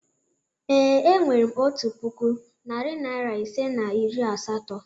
Ee, e nwere m otu puku, narị naịra ise na iri asatọ.